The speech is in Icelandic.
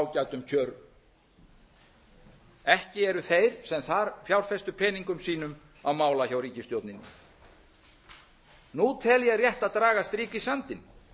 ágætum kjörum ekki eru þeir sem þar fjárfestu peningum sínum á mála hjá ríkisstjórninni nú tel ég rétt að draga strik í sandinn